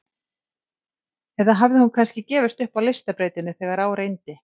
Eða hafði hún kannski gefist upp á listabrautinni þegar á reyndi?